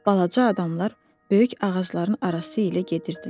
Balaca adamlar böyük ağacların arası ilə gedirdilər.